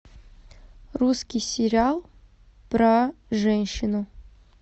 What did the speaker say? русский сериал про женщину